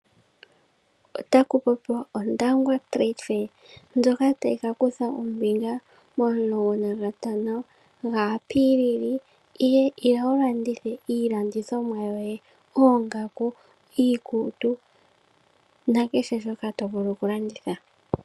Otaku popiwa Ondangwa trade fair ndyoka tayi ka kutha ombinga momulongo nantango ga apilili. Ila wu landithe iilandithomwa yoye oongaku, iikutu nakehe shoka to vulu oku landitha.